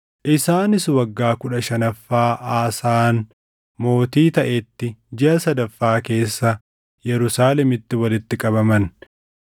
Isaanis waggaa kudha shanaffaa Aasaan mootii taʼetti jiʼa sadaffaa keessa Yerusaalemitti walitti qabaman.